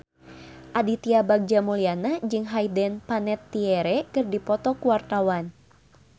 Aditya Bagja Mulyana jeung Hayden Panettiere keur dipoto ku wartawan